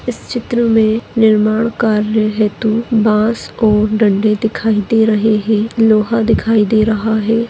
इस चित्र मे निर्माण कार्य हेतू बांस और दंडे दिखाई दे रहे है लोहा दिखाई दे रहा है।